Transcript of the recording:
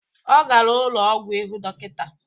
Ọ gara ụlọ ọgwụ ịhụ dọkịta